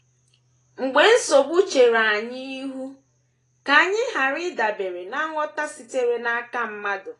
Mgbe nsogbu chere anyị ihu, ka anyị ghara ịdabere ná ngwọta sitere n’aka mmadụ.